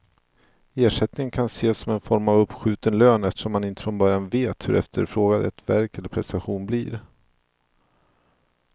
Ersättningen som kan ses som en form av uppskjuten lön eftersom man inte från början vet hur efterfrågad ett verk eller prestation blir.